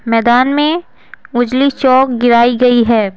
मैदान में उजली चौक गिराई गई है।